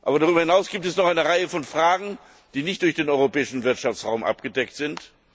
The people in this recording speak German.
Darüber hinaus gibt es noch eine Reihe von Fragen, die nicht durch den Europäischen Wirtschaftsraum abgedeckt sind.